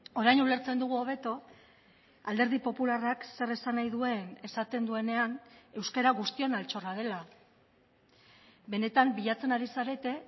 orain ulertzen dugu hobeto alderdi popularrak zer esan nahi duen esaten duenean euskara guztion altxorra dela benetan bilatzen ari zarete